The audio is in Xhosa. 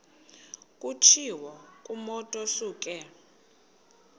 kutshiwo kumotu osuke